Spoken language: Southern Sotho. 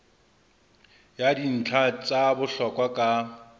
ya dintlha tsa bohlokwa ka